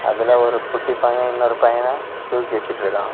அதுல ஒரு குட்டி பையன் இன்னொரு பையன தூக்கி வச்சிருக்கான்.